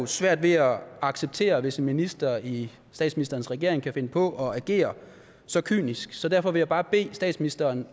svært ved at acceptere det hvis en minister i statsministerens regering kan finde på at agere så kynisk så derfor vil jeg bare bede statsministeren